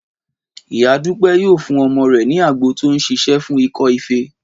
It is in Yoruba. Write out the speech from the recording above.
Ìyá Dúpẹ́ yóò fún ọmọ rẹ̀ ní àgbo tó ń ṣiṣẹ́ fún ikọ́ ife